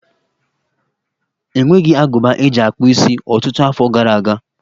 E nweghi agụba eji akpụ isi ọtụtụ afọ gara aga.